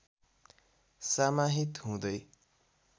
समाहित हुँदै